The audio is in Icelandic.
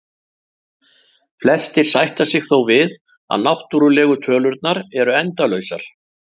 Flestir sætta sig þó við að náttúrlegu tölurnar eru endalausar.